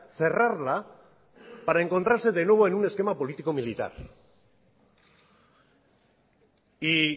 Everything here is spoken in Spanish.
cerrarla para encontrarse de nuevo en un esquema político militar y